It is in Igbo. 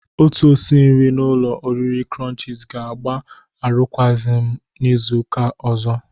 Otu osi nri n'ụlọ oriri krọnchiz ga-agba arụkwagi m n'Izuụka ọzọ.